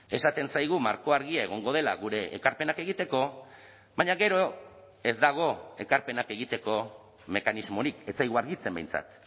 esaten zaigu marko argia egongo dela gure ekarpenak egiteko baina gero ez dago ekarpenak egiteko mekanismorik ez zaigu argitzen behintzat